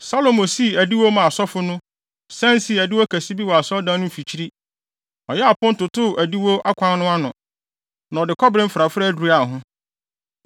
Salomo sii adiwo maa asɔfo no, san sii adiwo kɛse bi wɔ Asɔredan no mfikyiri. Ɔyɛɛ apon totoo adiwo akwan no ano, na ɔde kɔbere mfrafrae duraa ho.